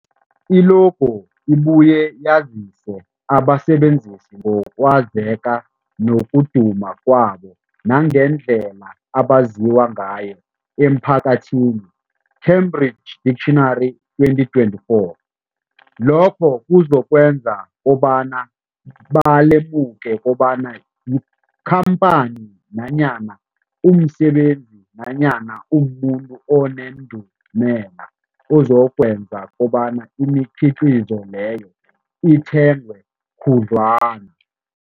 I-logo ibuye yazise abasebenzisi ngokwazeka nokuduma kwabo nangendlela abaziwa ngayo emphakathini, Cambridge Dictionary, 2024. Lokho kuzokwenza kobana balemuke kobana yikhamphani nanyana umsebenzi nanyana umuntu onendumela, okuzokwenza kobana imikhiqhizo leyo ithengwe khudlwana.